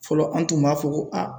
Fɔlɔ an tun b'a fɔ ko